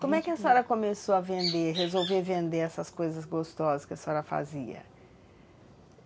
Como é que a senhora começou a vender, a resolver vender essas coisas gostosas que a senhora fazia?